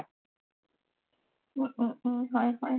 অ অ অ হয় হয় হয়